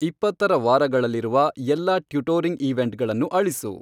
ಇಪ್ಪತ್ತರ ವಾರಗಳಲ್ಲಿರುವ ಎಲ್ಲಾ ಟ್ಯುಟೋರಿಂಗ್ ಈವೆಂಟ್ಗಳನ್ನು ಅಳಿಸು